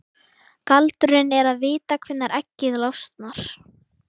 Galdurinn er að vita hvenær eggið losnar.